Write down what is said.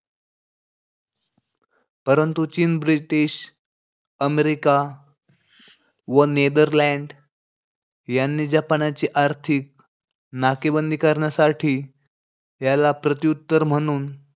परंतु चीन, british, America व नेदरलँड यांनी जपानाची आर्थिक नाकेबंदी करण्यासाठी याला प्रत्युत्तर म्हणून,